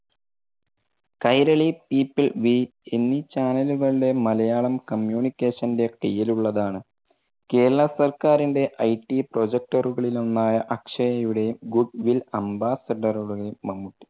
Kairali, people, we എന്നീ channel കളുടെ Malayalam communication ന്റെ കീഴിൽ ഉള്ളതാണ്. കേരള സർക്കാരിന്റെ ITprojecter കളിൽ ഒന്നായ അക്ഷയയുടെയും goodwill ambassador മമ്മൂട്ടി.